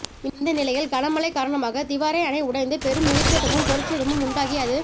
இந்த நிலையில் கனமழை காரணமாக திவாரே அணை உடைந்து பெரும் உயிர்ச்சேதமும் பொருட்சேதமும் உண்டாகிஅது